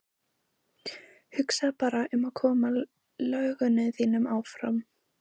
Hugsaðu bara um að koma lögunum þínum áfram.